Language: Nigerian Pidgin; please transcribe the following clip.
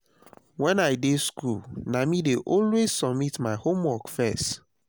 wen i dey school na me dey always submit my homework first